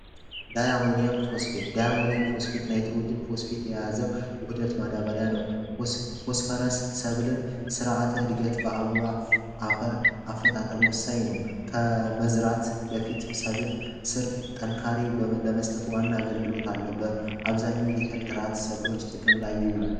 ዳይ አሞኒየም ፎስፌት ንጥረ ነገሮችን የያዘው ጉዳት ማዳበርያ ነው ስርዓተ እድገት በአበባ አፈር አፈጣጠር ወሳኝ ነው ከመዝራት በፊት ጠንካሬ በመስጠቱ ዋና አገልግሎት አለው በ አብዛኛው ጥራት ጥቅም ላይ ይውላል።